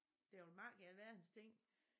Der vil mak i alverdens ting